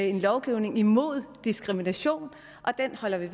en lovgivning imod diskrimination og den holder vi